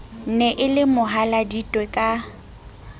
ne e le mohaladitwe ka